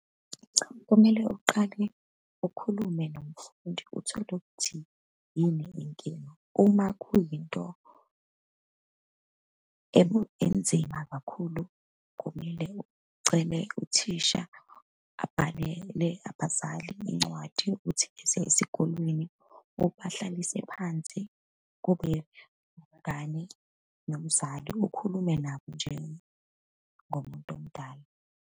Kumele uqale ukhulume nomfundi, uthole ukuthi yini inkinga. Uma kuyinto enzima kakhulu, kumele ucele uthisha abhalele abazali incwadi yokuthi beze esikolweni, ubahlalise phansi, kube nomngane nomzali. Ukhulume nabo njengumuntu omdala.